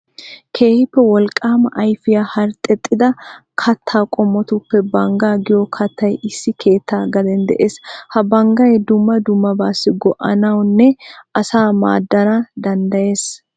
Keehippe wolqqaama ayfiya herxxexxida kattaa qommotuppe banggaa giyo kattay issi keettaa gaden de'ees. Ha banggay dumma dummabaassi go'anawunne asaa maaddana danddayees.